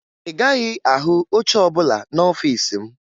Ị gaghị ahụ oche ọbụla n'ọfiisi m